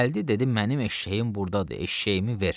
Gəldi dedi mənim eşşəyim burdadır, eşşəyimi ver.